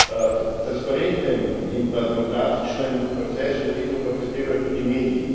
K transparentnem in demokratičnem procesu volitev pa prispevajo tudi mediji.